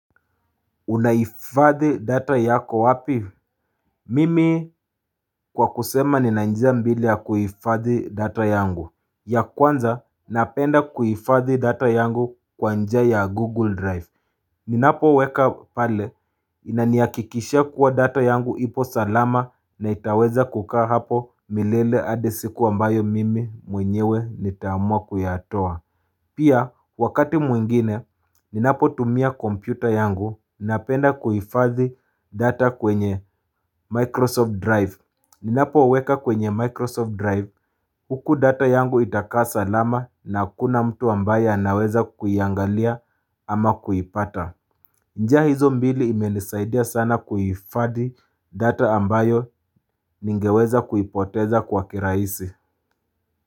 Unahifadhi data yako wapi Mimi kwa kusema nina njia mbili ya kuhifadhi data yangu ya kwanza napenda kuhifadhi data yangu kwa njia ya google drive Ninapo weka pale inanihakikishia kuwa data yangu ipo salama na itaweza kukaa hapo milele hadi siku ambayo mimi mwenyewe nitaamua kuyatoa Pia, wakati mwingine, ninapo tumia kompyuta yangu, ninapenda kuhifadhi data kwenye Microsoft Drive. Ninapo weka kwenye Microsoft Drive, huku data yangu itakaa salama na hakuna mtu ambaye anaweza kuiangalia ama kuipata. Njia hizo mbili imenisaidia sana kuhifadhi data ambayo ningeweza kuipoteza kwa kirahisi.